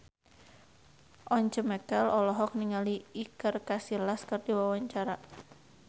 Once Mekel olohok ningali Iker Casillas keur diwawancara